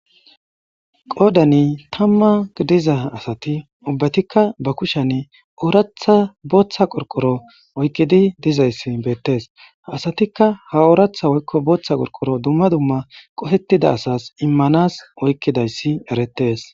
Goodani tamma gidiza asati ubbatikka ba kushan ooratha booththa qorqoro oykkidi dizayssi beettes asatikka ha ooratha woykko booththa qorqoro dumma dumma qofettida asas immanas oykkidayssi erettes.